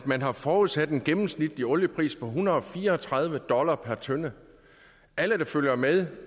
man har forudsat en gennemsnitlig oliepris på en hundrede og fire og tredive dollar per tønde alle der følger med